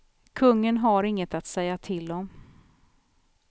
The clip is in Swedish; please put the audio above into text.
Kungen har inget att säga till om.